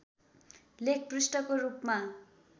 लेख पृष्ठको रूपमा